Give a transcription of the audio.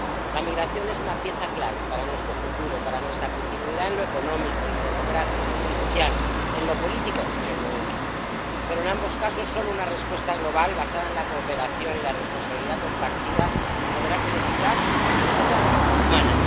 La migración es una pieza clave para nuestro futuro, para nuestra continuidad en lo económico, en lo demográfico, en lo social, en lo político y en lo ético, pero en ambos casos solo una respuesta global basada en la cooperación y la responsabilidad compartida podrá ser eficaz, justa y humana.